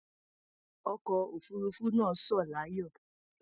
Ọkọ̀ òfuruufú náà sọ̀ láyọ̀.